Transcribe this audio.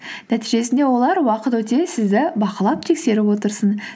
нәтижесінде олар уақыт өте сізді бақылап тексеріп отырсын